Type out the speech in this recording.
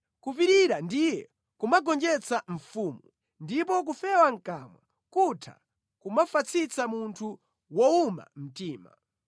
Kupirira ndiye kumagonjetsa mfumu, ndipo kufewa mʼkamwa kutha kumafatsitsa munthu wowuma mtima.